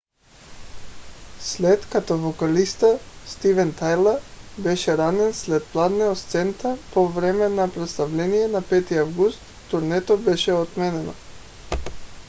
след като вокалистът стивън тайлър беше ранен след падне от сцената по време на представление на 5 август турнето беше отменено